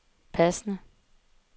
passende